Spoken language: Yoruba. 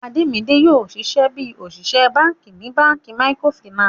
Ademide yoo ṣiṣẹ bi oṣiṣẹ banki ni banki micro Finance.